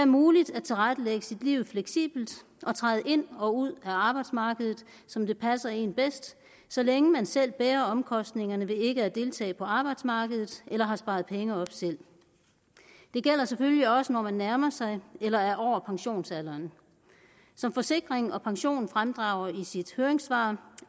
muligt at tilrettelægge sit liv fleksibelt og træde ind og ud af arbejdsmarkedet som det passer en bedst så længe man selv bærer omkostningerne ved ikke at deltage på arbejdsmarkedet eller har sparet penge op selv det gælder selvfølgelig også når man nærmer sig eller er over pensionsalderen som forsikring pension fremdrager i sit høringssvar